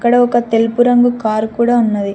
ఇక్కడ ఒక తెలుపు రంగు కారు కూడా ఉన్నది.